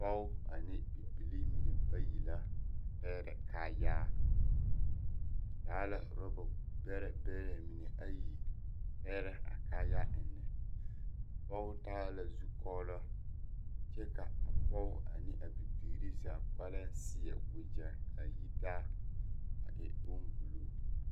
Pɔge ane bibilii mine bayi la a pɛgrɛ kaayaa ba taa la orɔba bɛrɛ bɛrɛ mine ayi pɛgrɛ a kaayaa eŋnɛ a pɔge taa la zukɔɔlɔ kyɛ ka a pɔge ane a bibiiri zaa kpɛlɛŋ seɛ wagyɛ kaa yi taa a e bombulu.